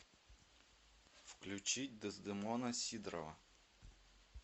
включить дездемона сидорова